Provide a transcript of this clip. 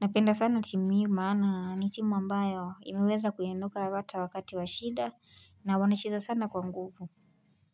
Napenda sana timu hii maana ni timu ambayo imeweza kuinuka hata wakati wa shida na wanacheza sana kwa nguvu.